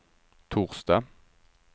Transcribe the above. torsdag